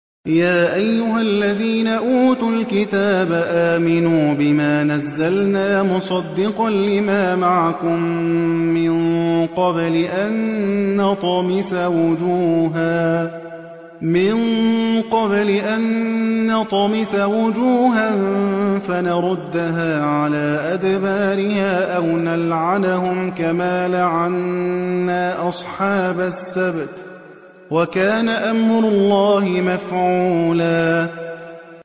يَا أَيُّهَا الَّذِينَ أُوتُوا الْكِتَابَ آمِنُوا بِمَا نَزَّلْنَا مُصَدِّقًا لِّمَا مَعَكُم مِّن قَبْلِ أَن نَّطْمِسَ وُجُوهًا فَنَرُدَّهَا عَلَىٰ أَدْبَارِهَا أَوْ نَلْعَنَهُمْ كَمَا لَعَنَّا أَصْحَابَ السَّبْتِ ۚ وَكَانَ أَمْرُ اللَّهِ مَفْعُولًا